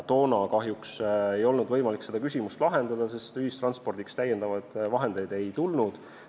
Toona kahjuks ei olnud võimalik seda küsimust lahendada, sest ühistranspordile lisavahendeid ei tulnud.